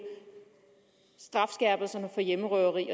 strafskærpelserne for hjemmerøveri